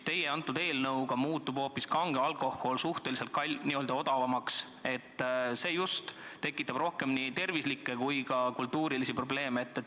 Teie eelnõu kohaselt muutub hoopis kange alkohol suhteliselt odavamaks, aga just see tekitab rohkem nii tervise- kui ka kultuurse käitumise probleeme.